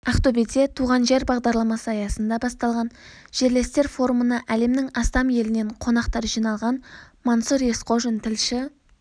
ақтөбеде туған жер бағдарламасы аясында басталған жерлестер форумына әлемнің астам елінен қонақтар жиналған мансұр есқожин тілші